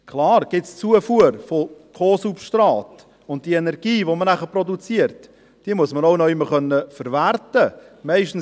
Klar gibt es die Zufuhr von Co-Substrat, und die Energie, die man dann produziert, muss man auch irgendwo verwerten können.